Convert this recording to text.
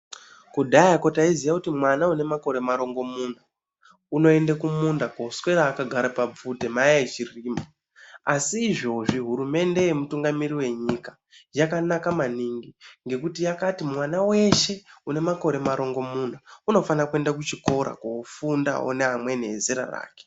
Kudhaya taiziva kuti mwana ane makore marongomuna unoenda kumunda kuswera akagara kuti Mai achirima asi izvozvi Kuti hurumende kutumgamirira nyika yakanaka maningi ngekuti vakati munhu weshe ane makore marongomuna anofana kuenda kuchikora kofunda nemazera ese.